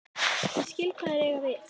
Ég skil hvað þeir eiga við.